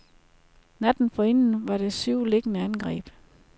Natten forinden var der syv lignende angreb.